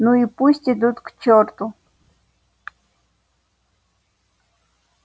ну и пусть идут к чёрту